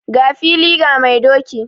Ga fili ga mai doki.